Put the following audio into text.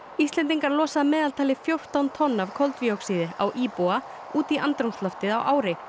Íslendingar losa að meðaltali um fjórtán tonn af koltvíóxíði á íbúa út í andrúmsloftið á ári